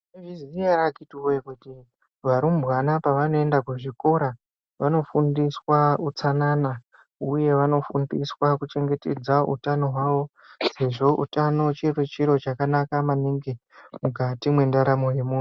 Maizviziya here vakhitiwoye kuti varumbwana pavanoenda kuzvikora vanofundiswa utsanana uye vanofundiswa kuchengetedza utano hwavo sezvo utano chirichiro chakanaka maningi mukati mendaramo yemuntu.